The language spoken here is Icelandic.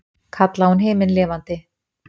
kallaði hún himinlifandi.